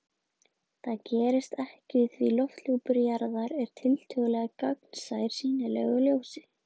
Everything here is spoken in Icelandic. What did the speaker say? Það gerist ekki því lofthjúpur jarðar er tiltölulega gagnsær sýnilegu ljósi.